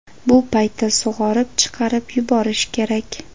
Bu paytda sug‘orib, chiqarib yuborish kerak.